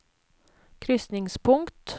krysningspunkt